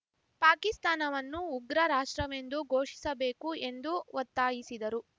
ಪಾಕಿಸ್ತಾನವನ್ನು ಉಗ್ರ ರಾಷ್ಟ್ರವೆಂದು ಘೋಷಿಸಬೇಕು ಎಂದು ಒತ್ತಾಯಿಸಿದರು